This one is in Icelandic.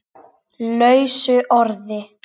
lausu orði